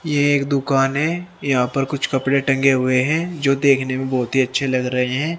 यह एक दुकान है यहां पर कुछ कपड़े टंगे हुए हैं जो देखने मे बहुत ही अच्छे लग रहे हैं।